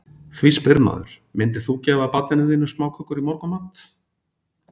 Því spyr maður, myndir þú gefa barninu þínu smákökur í morgunmat?